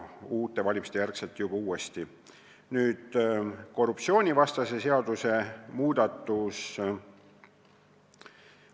Nüüd, korruptsioonivastase seaduse muudatus.